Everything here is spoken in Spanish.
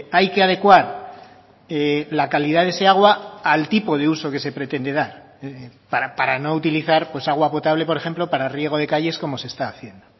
hay que adecuar la calidad de ese agua al tipo de uso que se pretende dar para no utilizar pues agua potable por ejemplo para riego de calles como se está haciendo